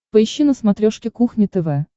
поищи на смотрешке кухня тв